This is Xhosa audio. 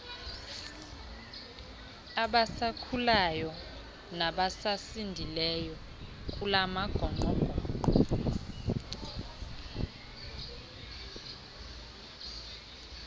abasakhulayo nabasasindileyo kulamagongqongqo